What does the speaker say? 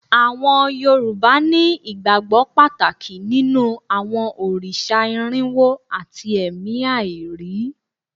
Àwọn Yorùbá ní ìgbàgbọ́ Pàtàkì nínú àwọn òrìṣà irínwo àti ẹ̀mí àìrí